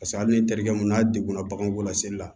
Paseke hali ni terikɛ mun n'a degunna baganw la seli la